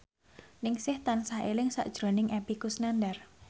Ningsih tansah eling sakjroning Epy Kusnandar